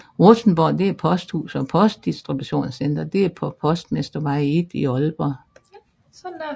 Rustenborg er et posthus og postdistributionscenter på Postmestervej 1 i Aalborg